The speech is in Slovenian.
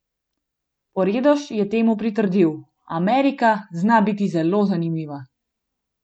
Poredoš je temu pritrdil: "Amerika zna biti zelo zanimiva.